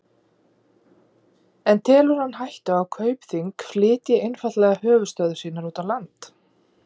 En telur hann hættu á að Kaupþing flytji einfaldlega höfuðstöðvar sínar úr landi?